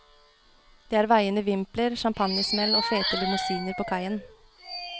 Det var vaiende vimpler, champagnesmell og fete limousiner på kaien.